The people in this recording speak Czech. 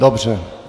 Dobře.